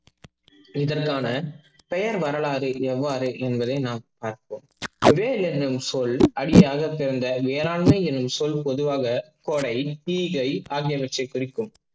இதற்க்கான பெயர் வரலாறு எவ்வாறு என்பதை நாம் பார்ப்போம். வெள் என்னும் சொல் அடியாக சேர்ந்த வேளாண்மை என்னும் சொல் பொதுவாக கோடை, ஈகை, ஆகியவற்றை குறிக்கும்.